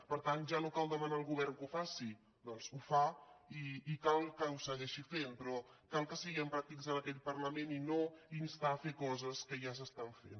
per tant ja no cal demanar al govern que ho faci perquè ho fa i cal que ho segueixi fent però cal que siguem pràctics en aquest parlament i no instar a fer coses que ja s’estan fent